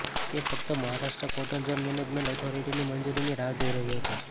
તે ફક્ત Maharashtra coastal zone management ઓથોરિટીની મંજૂરીની રાહ જોઈ રહ્યો હતો